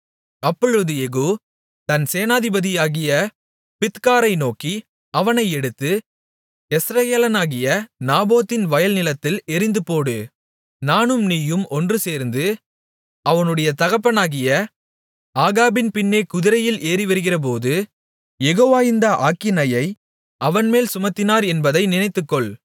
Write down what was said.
அப்பொழுது யெகூ தன் சேனாதிபதியாகிய பித்காரை நோக்கி அவனை எடுத்து யெஸ்ரயேலயனாகிய நாபோத்தின் வயல்நிலத்தில் எறிந்துபோடு நானும் நீயும் ஒன்றுசேர்ந்து அவனுடைய தகப்பனாகிய ஆகாபின் பின்னே குதிரையில் ஏறிவருகிறபோது யெகோவா இந்த ஆக்கினையை அவன்மேல் சுமத்தினார் என்பதை நினைத்துக்கொள்